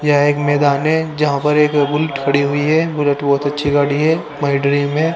यह एक मैदान है जहां पर एक बुलेट खड़ी हुई है बुलेट बहुत अच्छी गाड़ी है माइ ड्रीम है। --